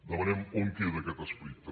demanem on queda aquest esperit també